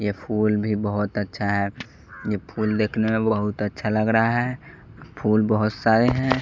ये फूल भी बहुत अच्छा है ये फूल देखने में बहुत अच्छा लग रहा है फूल बहुत सारे हैं.